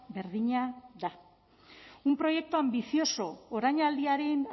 berdina da un proyecto ambicioso orainaldiaren